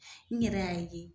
N yɛrɛ y'a ye